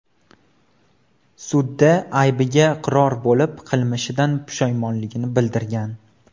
sudda aybiga iqror bo‘lib, qilmishidan pushaymonligini bildirgan.